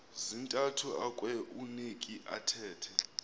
zintathu akueuneki athethe